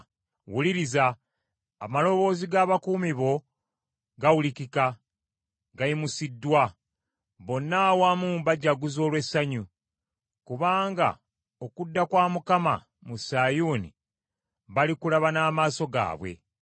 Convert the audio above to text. Wuliriza! Amaloboozi g’abakuumi bo gawulikika, gayimusiddwa. Bonna awamu bajaguza olw’essanyu. Kubanga okudda kwa Mukama mu Sayuuni balikulaba n’amaaso gaabwe.